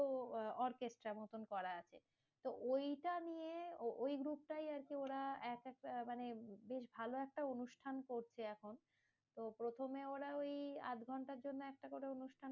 তো আহ orchestra মতন করা আছে। তো ওইটা নিয়ে ওই group টাই আরকি ওরা, একেকটা মানে খুব ভালো একটা অনুষ্ঠান করছে এখন। তো প্রথমে ওরা ওই আধঘন্টার জন্য একটা করে অনুষ্ঠান